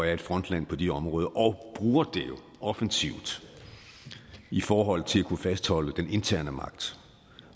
er et frontland på de områder og bruger det jo offensivt i forhold til at kunne fastholde den interne magt